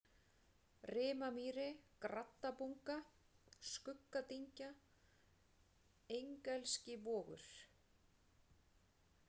Rimamýri, Graddabunga, Skuggadyngja, Engelskivogur